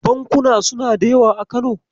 Bankuna suna da yawa a Kano.